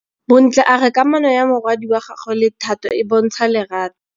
Bontle a re kamanô ya morwadi wa gagwe le Thato e bontsha lerato.